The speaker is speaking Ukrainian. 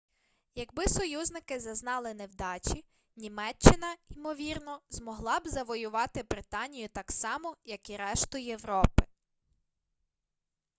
якби союзники зазнали невдачі німеччина ймовірно змогла б завоювати британію так само як і решту європи